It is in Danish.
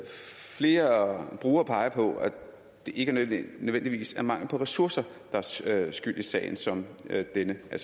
flere brugere peger på at det ikke nødvendigvis er mangel på ressourcer der er skyld i sager som denne og